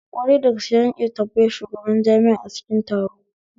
Kwarai dagaske, zan iya tambayar shugaban jami'a a cikin taro